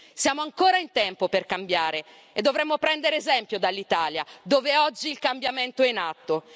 Siamo ancora in tempo per cambiare e dovremmo prendere esempio dall'Italia, dove oggi il cambiamento è in atto.